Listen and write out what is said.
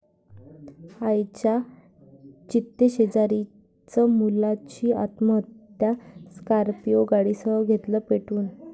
आईच्या चितेशेजारीच मुलाची आत्महत्या, स्कॉर्पिओ गाडीसह घेतलं पेटवून!